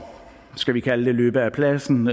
skal vi kalde det løbe af pladsen